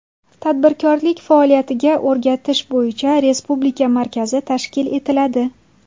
Tadbirkorlik faoliyatiga o‘rgatish bo‘yicha respublika markazi tashkil etiladi.